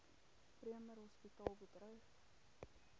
bremer hospitaal bedryf